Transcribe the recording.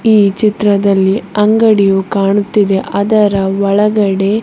ಈ ಚಿತ್ರದಲ್ಲಿ ಅಂಗಡಿಯು ಕಾಣುತ್ತಿದೆ ಅದರ ಒಳಗಡೆ--